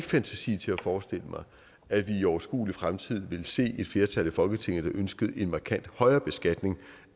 fantasi til at forestille mig at vi i overskuelig fremtid vil se et flertal i folketinget der ønsker en markant højere beskatning